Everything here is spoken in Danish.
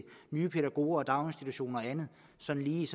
nye pædagoger og daginstitutioner sådan lige